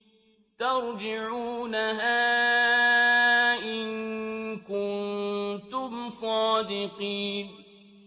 تَرْجِعُونَهَا إِن كُنتُمْ صَادِقِينَ